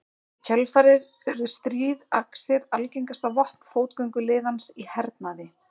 Í kjölfarið urðu stríðaxir algengasta vopn fótgönguliðans í hernaði.